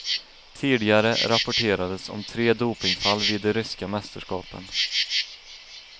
Tidigare rapporterades om tre dopingfall vid de ryska mästerskapen.